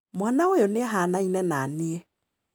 Mwana ũyũ nĩ ahanaine na niĩ